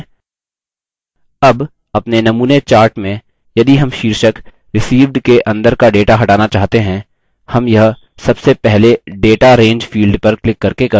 अब अपने नमूने chart में यदि हम शीर्षक received के अंदर का data हटाना चाहते हैं हम यह सबसे पहले data range field पर क्लिक करके कर सकते हैं